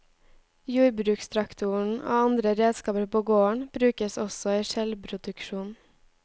Jordbrukstraktoren og andre redskaper på gården, brukes også i skjellproduksjonen.